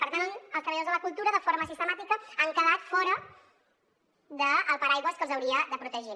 per tant els treballadors de la cultura de forma sistemàtica han quedat fora del paraigua que els hauria de protegir